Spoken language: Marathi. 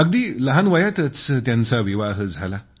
अगदी लहान वयातच विवाह झाला